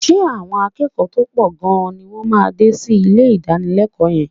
Ṣé àwọn akẹ́kọ̀ọ́ tó pọ̀ gan-an ni wọ́n máa dé sí ilé ìdánilẹ́kọ̀ọ́ yẹn?